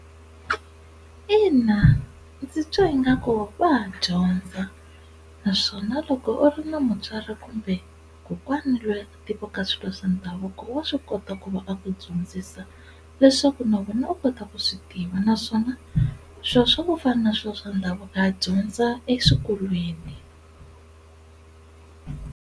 Ina ndzi twa ingaku va ha dyondza naswona loko u ri na mutswari kumbe kokwana loyi a tivaka swilo swa ndhavuko wa swi kota ku va a ku dyondzisa leswaku na wena u kota ku swi tiva naswona swilo swa ku fana na swilo swa ndhavuko a dyondza eswikolweni.